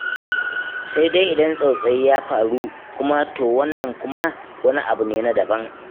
Sai dai idan tsautsayi ya faru kuma, to wannan kuma wani abu ne daban.